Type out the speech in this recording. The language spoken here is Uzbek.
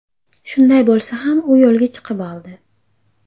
Shunday bo‘lsa ham u yo‘lga chiqib oldi.